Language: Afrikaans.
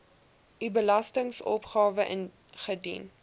u belastingopgawe ingedien